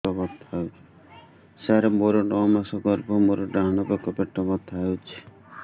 ସାର ମୋର ନଅ ମାସ ଗର୍ଭ ମୋର ଡାହାଣ ପାଖ ପେଟ ବଥା ହେଉଛି